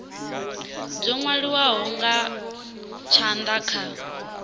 dzo nwaliwaho nga tshanda kha